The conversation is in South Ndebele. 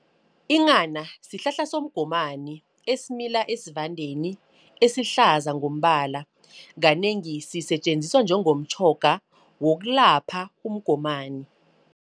Inghana sihlahla somgomani, esimila esivandeni, esihlaza ngombala. Kanengi sisetjenziswa njengomtjhoga wokulapha umgomani.